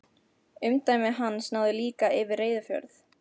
Umdæmi hans náði líka yfir Reyðarfjörð.